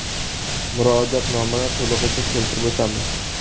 Murojaatnomani to‘lig‘icha keltirib o‘tamiz.